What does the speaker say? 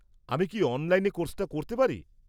আমি কি অনলাইনে কোর্সটা করতে পারি?